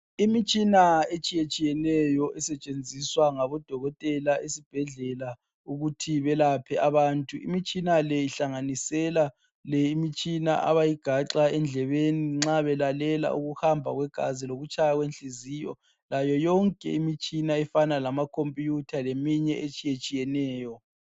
Imitshina etshiyetshiye neyo esentshenziswa ngabodokotela ezibhedlela ukuthi balaphe abantu imitshina le ihlanganisela leyi abayi ganxa endlebeni nxa belalela ukuhamba kwegazi loku tshaya kwenhliziyo layo yonkebimitshina efana lama khomputha layo yonke imitshini etshiyetshiye neyo